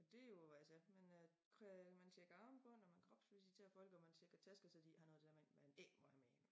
Det jo altså man øh man tjekker armbånd og man kropsivisterer folk og man tjekker tasker så de ikke har noget af det dér med ind man ik på have med ind